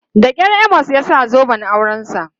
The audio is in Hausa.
Da kyar Amos ya sa zoben aurensa.